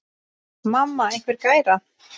Mamma einhver gæra?